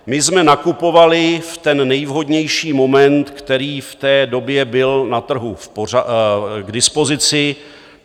My jsme nakupovali v ten nejvhodnější moment, který v té době byl na trhu k dispozici.